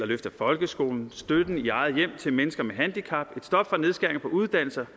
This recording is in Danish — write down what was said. løft af folkeskolen støtten i eget hjem til mennesker med handicap et stop for nedskæringer på uddannelser